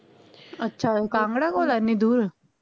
ਅੱਛਾ ਕਾਂਗੜਾ ਕੋਲ ਆ ਏਨੀ ਦੂਰ